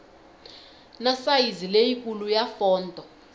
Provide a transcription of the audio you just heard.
na sayizi leyikulu ya fonto